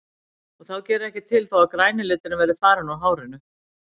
Og þá gerir ekkert til þó að græni liturinn verði farinn úr hárinu.